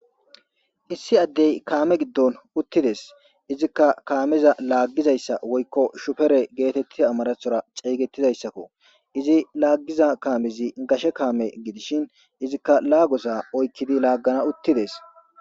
Issi addey kaame giddon uttides izikka kaameza laaggizayssa woykko shupere geetettida amarathora ceeygettidayssakko izi laaggiza kaamizi gashe kaame gidishin izikka laagosa oykkidi laaggana uttides.